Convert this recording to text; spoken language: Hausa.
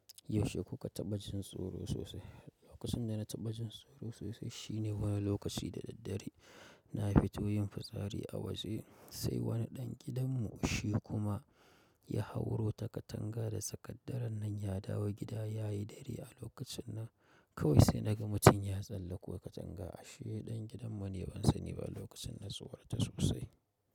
Yaushe kuka taɓa jin tsoro sosai? Lokacin da na taɓa jin tsoro sosai shine wani lokaci da daddare na fito yin fitsari a waje, sai wani ɗan gidan mu, shi kuma ya hauro ta katanga da tsakar dare nan ya dawo gida yayi dare a lokacin nan. Kawai sai naga mutum ya tsallako katanga. Ashe ɗan gidan mu ne ban sani ba lokacin na tsorata sosai.